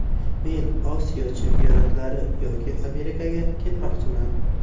Men Osiyo chempionatlari yoki Amerikaga ketmoqchiman.